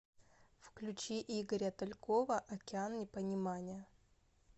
включи игоря талькова океан непонимания